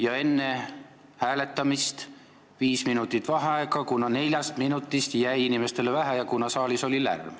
Ja enne hääletamist palun viis minutit vaheaega, kuna neljast minutist jäi inimestele väheks ja saalis oli lärm.